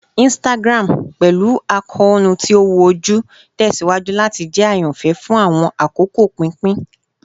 Instagram, pẹlu akoonu ti o wu oju, tẹsiwaju lati jẹ ayanfẹ fun awọn akoko pinpin